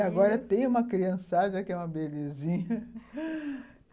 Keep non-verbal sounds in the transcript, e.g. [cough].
E agora tem uma criançada que é uma belezinha [laughs]